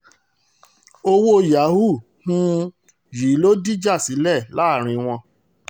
owó yahoo um yìí ló dìjà sílẹ̀ láàrin wọn